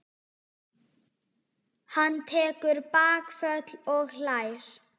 Hann tekur bakföll og hlær.